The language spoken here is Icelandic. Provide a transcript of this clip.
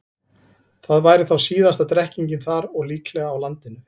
Það væri þá síðasta drekkingin þar og líklega á landinu.